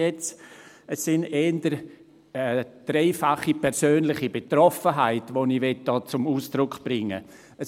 Es ist eher eine dreifache persönliche Betroffenheit, die ich hier zum Ausdruck bringen will.